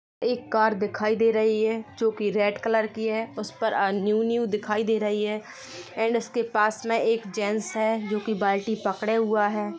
एक कार दिखाई दे रही है जोकि रेड कलर की है उसपर न्यू न्यू दिखाई दे रही है एंड उसके पास मे एक जेंस है जोकि बाल्टी पकडे हुआ हैं।